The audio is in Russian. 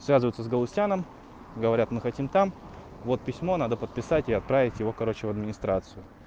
связывается с галустяном говорят мы хотим там вот письмо надо подписать и отправить его короче в администрацию